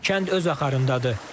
Kənd öz axarındadır.